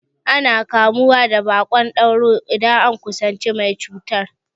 Ana kamuwa da baƙon dauro idan an kusanci mai cutar.